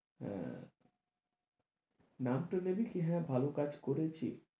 হ্যাঁ, নাম তো নেবে কি হ্যাঁ ভালো কাজ করেছি,